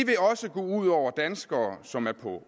gå ud over de danskere som er på